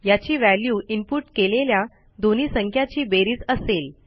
याची value input केलेल्या दोन्ही संख्याची बेरीज असेल